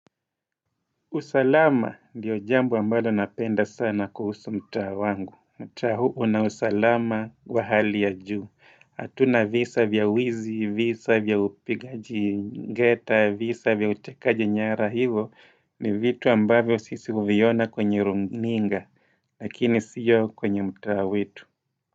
Usalama ndio jambo ambalo napenda sana kuhusu mtaa wangu. Mtaa huu una usalama wa hali ya juu. Hatuna visa vya wizi, visa vya upigaji ngeta, visa vya utekaji nyara hivo ni vitu ambavyo sisi huviona kwenye runiga. Lakini sio kwenye mtaa wetu.